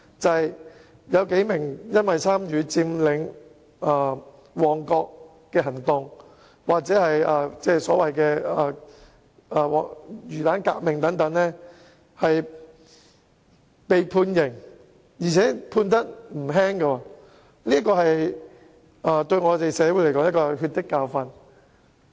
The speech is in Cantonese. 例如，有數名人士因參與佔領旺角行動——即所謂"魚蛋革命"——而被判刑，而且刑罰不輕，對社會來說，可說是血的教訓。